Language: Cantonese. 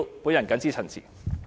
我謹此陳辭。